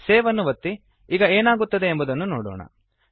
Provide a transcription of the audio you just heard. save ಅನ್ನು ಒತ್ತಿ ಈಗ ಏನಾಗುತ್ತದೆ ಎಂಬುದನ್ನು ನೋಡೋಣ